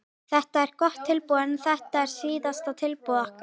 Þetta er gott tilboð en þetta er síðasta tilboð okkar.